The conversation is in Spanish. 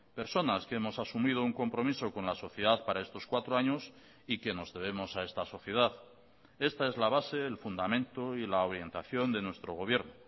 personas que hemos asumido un compromiso con la sociedad para estos cuatro años y que nos debemos a esta sociedad esta es la base el fundamento y la orientación de nuestro gobierno